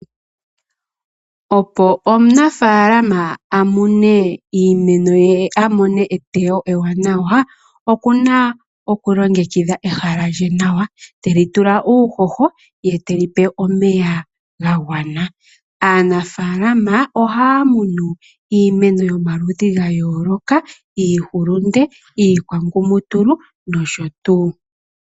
Opo omunafalama amune iimeno yee amone etewo ewanawa. Okuna okulongekidha ehala lye nawa teli tula uuhoho yee teli pe omeya gagwana. Aanafalama ohaya munu iimeno yomaludhi gayoloka iihulunde, iikwangumutulu nosho tuu.